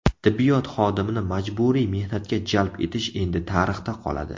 Tibbiyot xodimini majburiy mehnatga jalb etish endi tarixda qoladi.